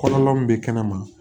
Kɔrɔ min bɛ kɛnɛma